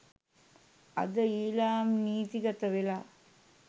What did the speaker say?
අද ඊලාම් නීතිගත වෙලා.